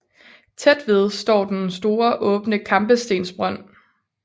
Tæt ved står den store åbne kampestensbrønd